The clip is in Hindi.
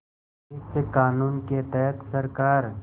इस क़ानून के तहत सरकार